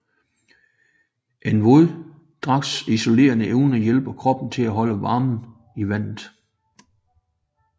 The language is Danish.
En våddragts isolerende evne hjælper kroppen til at holde varmen i vandet